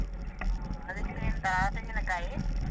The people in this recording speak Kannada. ಹಾ ಅದಿಕ್ಕೆ ಎಂತ ತೆಂಗಿನಕಾಯಿ.